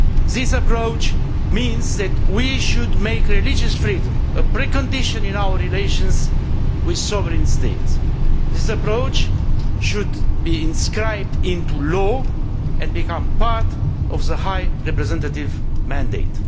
This approach means that we should make religious freedom a precondition in our relations with sovereign states. This approach should be inscribed into law and become part of the High Representative's mandate.